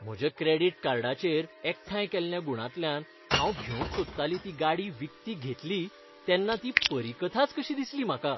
म्हज्या क्रेडिट कार्डाचेर एकठांय केल्ल्या गुणांतल्यान हांव घेवंक सोदताली ती गाडी विकती घेतली तेन्ना ती परीकथाच कशी दिसली म्हाका.